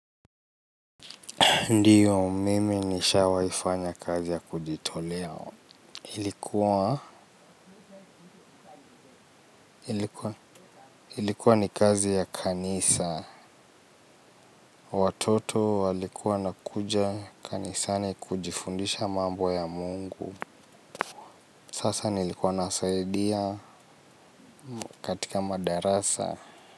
Ndiyo mimi nisha waifanya kazi ya kujitolea. Ilikuwa ni kazi ya kanisa. Watoto walikuwa nakuja kanisani kujifundisha mambo ya mungu. Sasa nilikuwa nasaidia katika madarasa.